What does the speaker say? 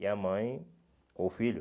E a mãe com o filho.